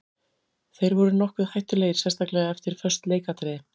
Þeir voru nokkuð hættulegir sérstaklega eftir föst leikatriði.